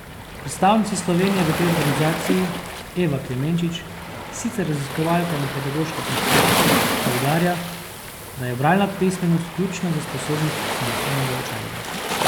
Predstavnica Slovenije v tej organizaciji Eva Klemenčič, sicer raziskovalka na Pedagoškem inštitutu, poudarja, da je bralna pismenost ključna za sposobnost samostojnega učenja.